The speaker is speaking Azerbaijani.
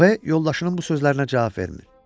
B yoldaşının bu sözlərinə cavab vermir.